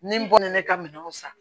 Ni n bɔlen ne ka minɛnw san